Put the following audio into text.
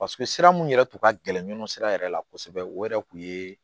Paseke sira mun yɛrɛ tun ka gɛlɛn nɔnɔ sira yɛrɛ la kosɛbɛ o yɛrɛ tun ye